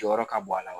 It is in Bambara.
Jɔyɔrɔ ka bon a la